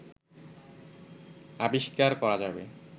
আবিষ্কার করা যাবে